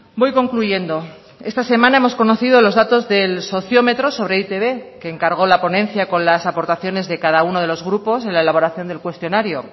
voy concluyendo esta semana hemos conocido los datos del sociómetro sobre e i te be que encargó la ponencia con las aportaciones de cada uno de los grupos en la elaboración del cuestionario